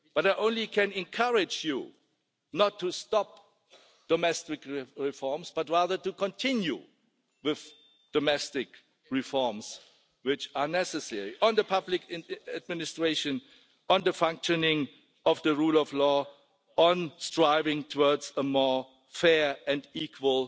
I can only encourage you not to stop domestic reforms but rather to continue with the domestic reforms which are necessary, on the public administration, on the functioning of the rule of law, on striving towards a more fair and equal